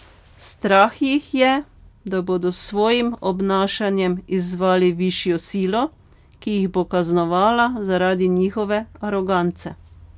Strah jih je, da bodo s svojim obnašanjem izzvali višjo silo, ki jih bo kaznovala zaradi njihove arogance.